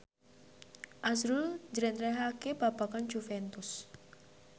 azrul njlentrehake babagan Juventus